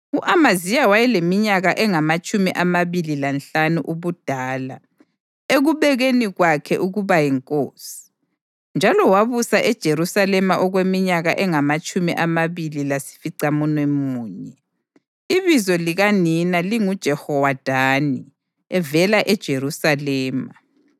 U-Amaziya wayeleminyaka engamatshumi amabili lanhlanu ubudala ekubekweni kwakhe ukuba yinkosi, njalo wabusa eJerusalema okweminyaka engamatshumi amabili lasificamunwemunye. Ibizo likanina linguJehowadani evela eJerusalema.